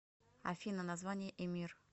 афина название эмир